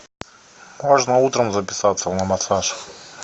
можно утром записаться на массаж